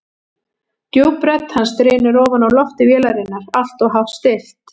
Djúp rödd hans drynur ofan úr lofti vélarinnar, alltof hátt stillt.